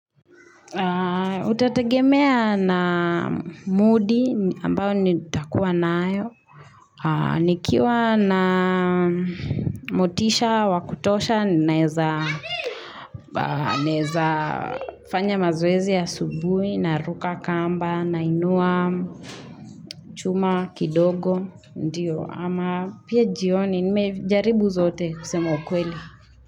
Utatagemea na mdi ambao nitakuwa nayo nikiwa na motisha wakutosha ninaeza naeza fanya mazoezi asubuhi naruka kamba nainua chuma kidogo ndiyo ama pia jioni nimejaribu zote kusema ukweli.